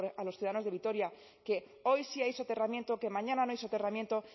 a los ciudadanos de vitoria que hoy sí hay soterramiento que mañana no hay soterramiento